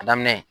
A daminɛ